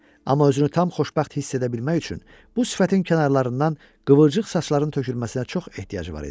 Amma özünü tam xoşbəxt hiss edə bilmək üçün bu sifətin kənarlarından qıvrıcıq saçların tökülməsinə çox ehtiyacı var idi.